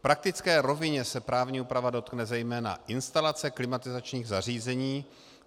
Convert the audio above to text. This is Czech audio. V praktické rovině se právní úprava dotkne zejména instalace klimatizačních zařízení.